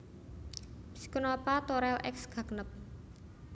Pycnospatha Thorel ex Gagnep